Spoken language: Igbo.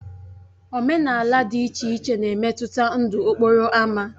Omenala dị iche iche na-emetụta ndụ okporo ámá.